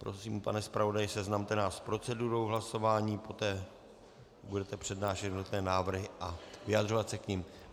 Prosím, pane zpravodaji, seznamte nás s procedurou hlasování, poté budete přednášet jednotlivé návrhy a vyjadřovat se k nim.